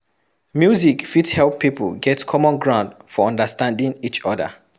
Music fit help pipo get common ground for understanding each other